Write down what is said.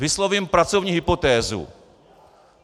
Vyslovím pracovní hypotézu.